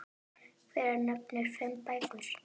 Hver nefndi fimm bækur.